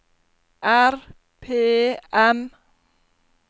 RPM